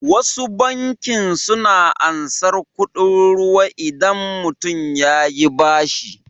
Wasu bankin suna ansar kuɗin ruwa idabn mutun yayi bashi